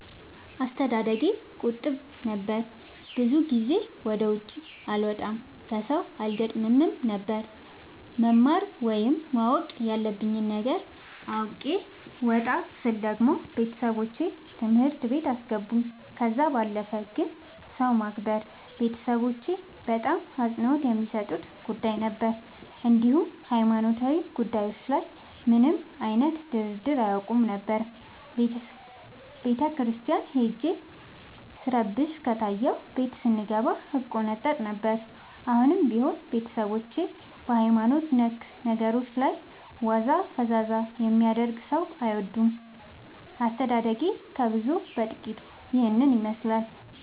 አስተዳደጌ ቁጥብ ነበር። ብዙ ጊዜ ወደ ውጪ አልወጣም ከሠው አልገጥምም ነበር። መማር ወይም ማወቅ ያለብኝ ነገር አውቄ ወጣ ስል ደግሞ ቤተሠቦቼ ትምህርት ቤት አስገቡኝ። ከዛ ባለፈ ግን ሰው ማክበር ቤተሠቦቼ በጣም አፅንኦት የሚሠጡት ጉዳይ ነበር። እንዲሁም ሀይማኖታዊ ጉዳዮች ላይ ምንም አይነት ድርድር አያውቁም ነበር። ቤተክርስቲያን ሄጄ ስረብሽ ከታየሁ ቤት ስንገባ እቆነጠጥ ነበር። አሁንም ቢሆን ቤተሠቦቼ በሀይማኖት ነክ ነገሮች ላይ ዋዛ ፈዛዛ የሚያደርግ ሠው አይወዱም። አስተዳደጌ ከብዙው በጥቂቱ ይህን ይመሥላል።